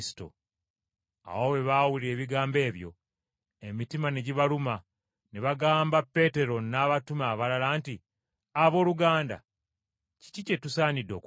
Awo bwe baawuulira ebigambo ebyo, emitima ne gibaluma, ne bagamba Peetero n’abatume abalala, nti, “Abooluganda, kiki kye tusaanidde okukola?”